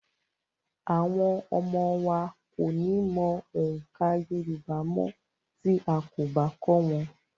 Àwọn ọmọ wa kò ní mọ oǹkà Yorùbá mọ́ tí a kò bá kọ́ wọn.